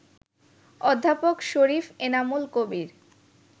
অধ্যাপক শরীফ এনামুল কবির